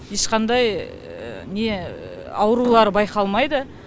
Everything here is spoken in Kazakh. ешқандай аурулары байқалмайды